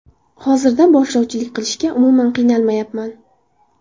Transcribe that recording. Hozirda boshlovchilik qilishga umuman qiynalmayapman.